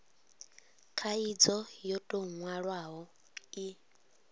khaidzo yo tou nwalwaho i